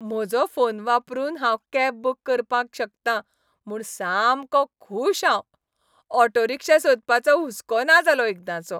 म्हजो फोन वापरून हांव कॅब बूक करपाक शकतां म्हूण सामको खूश हांव. ऑटो रिक्षा सोदपाचो हुस्को ना जालो एकदांचो.